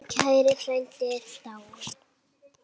Minn kæri frændi er dáinn.